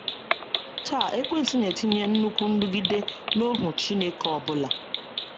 Taa, Ekwensu na-etinye nnukwu nrụgide na ohu Chineke ọ bụla.